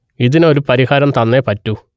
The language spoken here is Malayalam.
ഇതിന് ഒരു പരിഹാരം തന്നെ പറ്റൂ